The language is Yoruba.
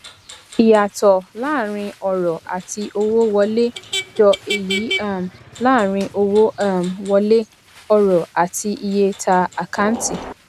ìyàtò láàárín ọrò àti owó wọlé jọ èyí um láàárín owó um wọlé ọrò àti iye ta ákáǹtì